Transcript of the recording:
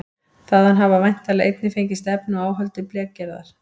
Þaðan hafa væntanlega einnig fengist efni og áhöld til blekgerðar.